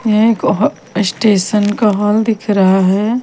यह एक हॉ स्टेशन का हाल दिख रहा है।